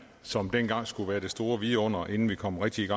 som dengang skulle være det store vidunder inden vi kom rigtig i